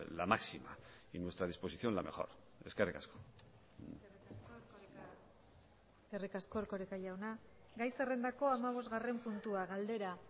la máxima y nuestra disposición la mejor eskerrik asko eskerrik asko erkoreka jauna gai zerrendako hamabosgarren puntua galdera